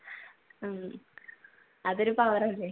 ഉം അതൊരു power അല്ലെ?